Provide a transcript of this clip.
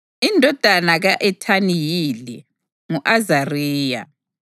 Indodana ka-Ethani yile: ngu-Azariya.